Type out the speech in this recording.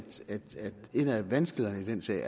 en af vanskelighederne i den sag